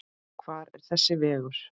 Hvar er þessi vegur?